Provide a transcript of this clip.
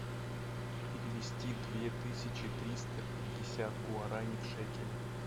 перевести две тысячи триста пятьдесят гуарани в шекели